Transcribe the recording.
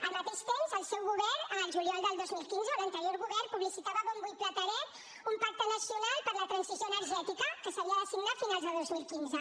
al mateix temps el seu govern el juliol del dos mil quinze l’anterior govern publicitava a bombo i platerets un pacte nacional per la transició energètica que s’havia de signar a finals de dos mil quinze